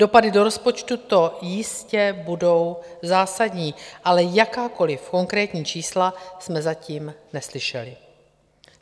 Dopady do rozpočtu to jistě budou zásadní, ale jakákoliv konkrétní čísla jsme zatím neslyšeli.